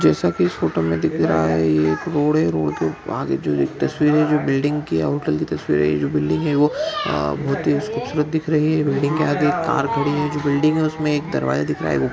जैसा की इस फोटो मैं दिख रहा हैं यह एक रोड हैं रोड आगे जो एक तस्वीर हैं जो बिल्डिंग की हैं होटल की तस्वीर हैं यह जो बिल्डिंग हैं वो अ बहोत खूबसूरत दिख रही हैं बिल्डिंग के आगे एक कार पड़ी हुई हैं जो बिल्डिंग हैं उसमे एक दरवाजा दिख रहा हैं।